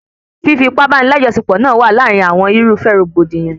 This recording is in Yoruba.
Fífi ipá báni lajọsepọ náà wa láàrin àwọn irúfẹ́ rògbòdìyàn